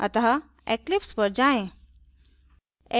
अतः eclipse पर जाएँ